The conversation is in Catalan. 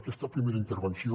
aquesta primera intervenció